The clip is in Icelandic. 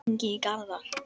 Hringi í Garðar.